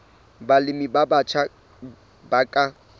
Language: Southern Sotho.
balemi ba batjha ba ka